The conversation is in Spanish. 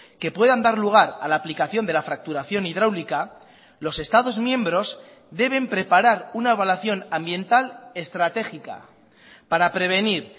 que puedan dar lugar a la aplicación de la fracturación hidráulica los estados miembros deben preparar una evaluación ambiental estratégica para prevenir